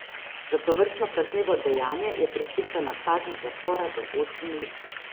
Za tovrstno kaznivo dejanje je predpisana kazen zapora do osem let.